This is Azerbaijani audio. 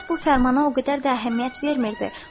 İlyas bu fərmana o qədər də əhəmiyyət vermirdi.